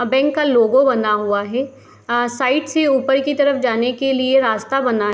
यहाँ बैंक का लोगो बना हुआ है आ साइड से ऊपर की तरफ जाने के लिये रास्ता बना --